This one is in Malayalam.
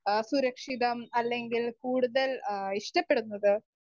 സ്പീക്കർ 1 അഹ് സുരക്ഷിതം അല്ലെങ്കിൽ കൂടുതൽ ആ ഇഷ്ടപ്പെടുന്നത്?